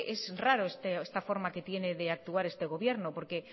es raro esta forma de actuar que tiene el gobierno porque